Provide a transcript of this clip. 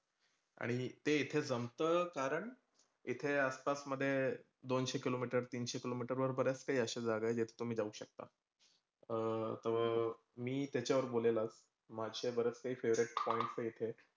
आणि ते इथं जमतं. कारण, इथे आसपास मधे दोनशे किलो मिटत, तीनशे किलो मिटर वर बऱ्याच काही अशा जागा आहेत जेथे तुम्ही जाऊ शकता अह तो. मी त्याच्यावर बोलेल, आज माझं बरंच काही favorite points ये इथं.